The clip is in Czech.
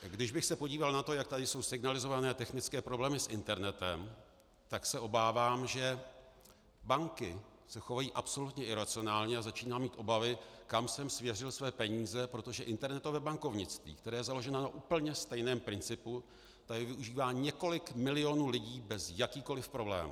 Když bych se podíval na to, jak tady jsou signalizovány technické problémy s internetem, tak se obávám, že banky se chovají absolutně iracionálně, a začínám mít obavy, kam jsem svěřil své peníze, protože internetové bankovnictví, které je založeno na úplně stejném principu, tady využívá několik milionů lidí bez jakýchkoliv problémů.